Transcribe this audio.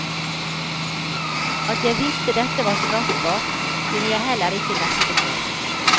At jeg visste dette var straffbart, kunne jeg heller ikke nekte for.